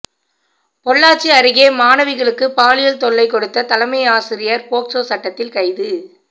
பொள்ளாச்சி அருகே மாணவிகளுக்கு பாலியல் தொல்லை கொடுத்த தலைமையாசிரியர் போக்சோ சட்டத்தில் கைது